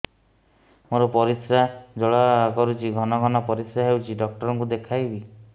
ମୋର ପରିଶ୍ରା ଜ୍ୱାଳା କରୁଛି ଘନ ଘନ ପରିଶ୍ରା ହେଉଛି ଡକ୍ଟର କୁ ଦେଖାଇବି